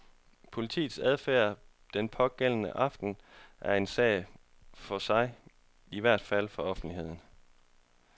Politiets adfærd den pågældende aften er en sag for sig, i hvert fald for offentligheden.